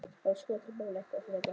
Þarf að skoða þau mál eitthvað frekar?